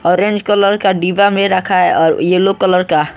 Orange colour का डिब्बा में रखा है और येलो कलर का।